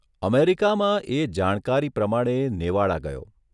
અમેરિકામાં એ જાણકારી પ્રમાણે નેવાડા ગયો.